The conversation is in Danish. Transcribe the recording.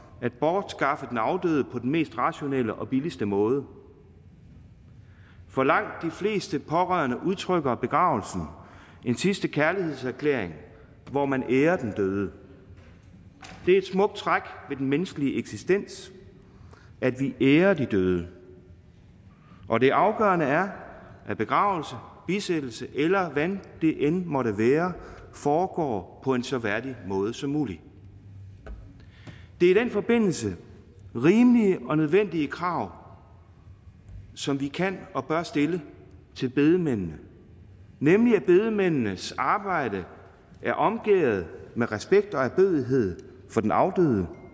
at bortskaffe den afdøde på den mest rationelle og billigste måde for langt de fleste pårørende udtrykker begravelsen en sidste kærlighedserklæring hvor man ærer den døde det er et smukt træk ved den menneskelige eksistens at vi ærer de døde og det afgørende er at begravelse bisættelse eller hvad det end måtte være foregår på en så værdig måde som muligt det er i den forbindelse rimelige og nødvendige krav som vi kan og bør stille til bedemændene nemlig at bedemændenes arbejde er omgærdet med respekt og ærbødighed for den afdøde